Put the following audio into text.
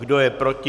Kdo je proti?